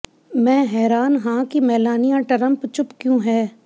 ਮੈਂ ਹੈਰਾਨ ਹਾਂ ਕਿ ਮੇਲਾਨੀਆ ਟਰੰਪ ਚੁੱਪ ਕਿਉਂ ਹੈ